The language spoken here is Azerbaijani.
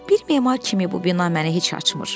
Bir memar kimi bu bina məni heç açmır.